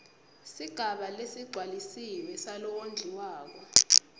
sigaba lesigcwalisiwe salowondliwako